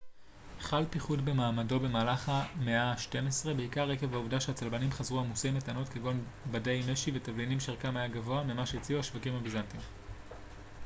חל פיחות במעמדו במהלך המאה השתים עשרה בעיקר עקב העובדה שהצלבנים חזרו עמוסי מתנות כגון בדי משי ותבלינים שערכם היה גבוה ממה שהציעו השווקים הביזנטיים